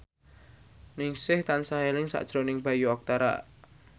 Ningsih tansah eling sakjroning Bayu Octara